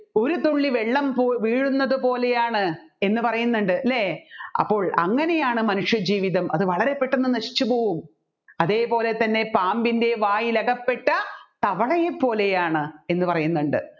ഒരു തുള്ളി വെള്ളം പോ വീഴുന്നത് പോലെയാണ് എന്ന് പറയുന്നുണ്ട് അല്ലെ അപ്പോൾ അങ്ങനെയാണ് മാനുഷയജീവിതം അത് വളരെ പെട്ടെന്ന് നശിച്ചുപോകും അതേപോലെ തന്നെ പാമ്പിൻെറ വായിൽ അകപ്പെട്ട തവളയെ പോലെയാണ്